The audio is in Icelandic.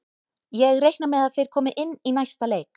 Ég reikna með að þeir komi inn í næsta leik.